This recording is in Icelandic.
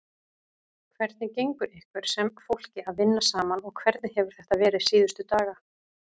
Hvernig gengur ykkur sem fólki að vinna saman og hvernig hefur þetta verið síðustu daga?